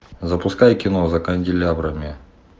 запускай кино за канделябрами